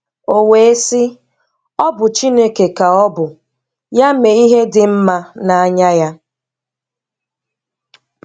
O we sị, ọ bụ Chineke ka ọ bu: Ya mee ihe dị mma n'anya Ya.